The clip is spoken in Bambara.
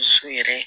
So yɛrɛ